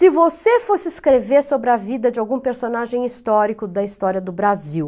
Se você fosse escrever sobre a vida de algum personagem histórico da história do Brasil...